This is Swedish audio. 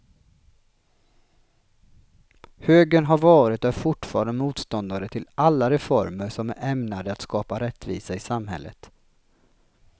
Högern har varit och är fortfarande motståndare till alla reformer som är ämnade att skapa rättvisa i samhället.